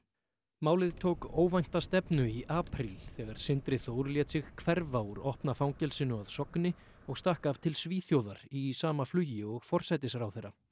málið tók óvænta stefnu í apríl þegar Sindri Þór lét sig hverfa úr opna fangelsinu að Sogni og stakk af til Svíþjóðar í sama flugi og forsætisráðherra